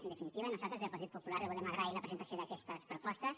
en definitiva nosaltres des del partit popular li volem agrair la presentació d’aquestes propostes